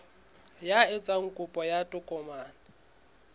ya etsang kopo ya tokomane